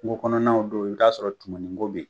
Kungo kɔnɔnaw don i t'a sɔrɔ tumain ko be yen.